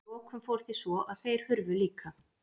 Að lokum fór því svo að þeir hurfu líka.